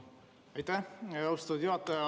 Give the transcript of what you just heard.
Aitäh, austatud juhataja!